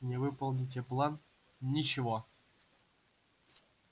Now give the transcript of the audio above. не выполните план ничего